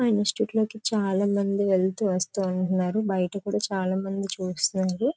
ఆ ఇన్స్టిట్యూట్ లోకి చాలామంది వెళ్తూ వస్తు ఉన్నారు. బయట కూడా చాలామంది చూస్తున్నారు.